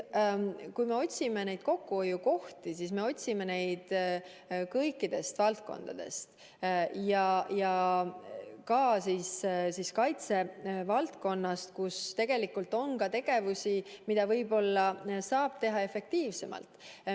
Kui me otsime neid kokkuhoiukohti, siis me otsime neid kõikidest valdkondadest, ka kaitsevaldkonnast, kus tegelikult on ka tegevusi, mida võib-olla saab teha efektiivsemalt.